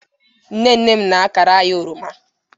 nne nne m na-akara anyi oroma